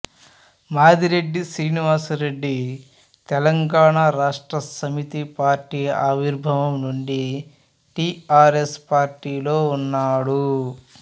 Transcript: Madireddy Srinivas Reddy Telangana Rashtra Samithi party ఆవిర్భావం నుండి TRS పార్టీలో ఉన్నాడు